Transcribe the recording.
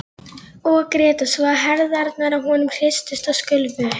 Veit að nú hefur verið farið yfir einhver mörk.